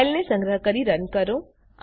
ફાઈલને સંગ્રહ કરી રન કરો